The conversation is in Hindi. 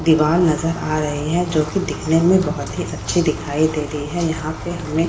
दीवार नजर आ रहें हैं जो कि दिखने में बहुत ही अच्छी दिखाई दे रही है। यहाँ पे हमें --